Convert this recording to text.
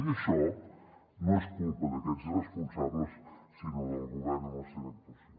i això no és culpa d’aquests irresponsables sinó del govern amb la seva actuació